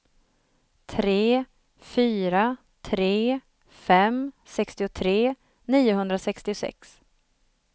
tre fyra tre fem sextiotre niohundrasextiosex